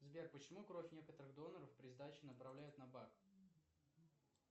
сбер почему кровь некоторых доноров при сдаче направляют на бак